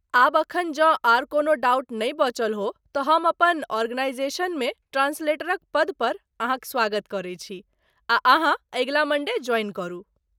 आब एखन जँ आर कोनो डाउट नै बचल हो तँ हम अपन आर्गेनाईजेशनमे ट्रान्सलेटरक पदपर अहाँक स्वागत करै छी आ अहाँ अगिला मण्डे ज्वाइन करू।